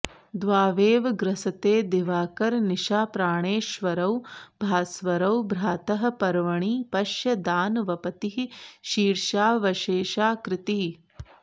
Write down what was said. द्वावेव ग्रसते दिवाकरनिशाप्राणेश्वरौ भास्वरौ भ्रातः पर्वणि पश्य दानवपतिः शीर्षावशेषाकृतिः